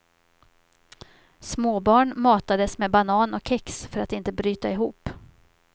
Småbarn matades med banan och kex för att inte bryta ihop.